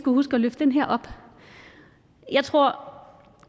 huske at løfte det her op jeg tror